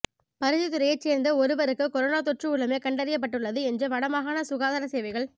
பருத்தித்துறையைச் சேர்ந்த ஒருவருக்கு கொரோனா தொற்று உள்ளமை கண்டறியப்பட்டுள்ளது என்று வடமாகாண சுகாதார சேவைகள்